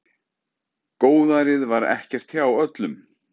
Góðærið var ekkert hjá öllum.